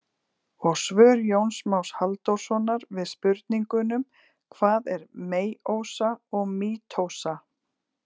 Og svör Jóns Más Halldórssonar við spurningunum: Hvað er meiósa og mítósa?